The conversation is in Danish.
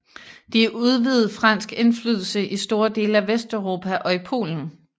De udvidede fransk indflydelse i store dele af Vesteuropa og i Polen